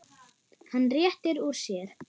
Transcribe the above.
Hann réttir úr sér.